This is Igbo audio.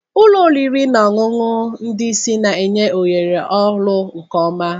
Ụlọ oriri na ọṅụṅụ ndị isi na-enye ohere ọrụ nke ọma.